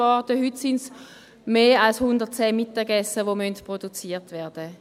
Heute müssen mehr als 110 Mittagessen produziert werden.